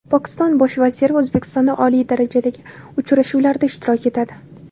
Pokiston bosh vaziri O‘zbekistonda oliy darajadagi uchrashuvlarda ishtirok etadi.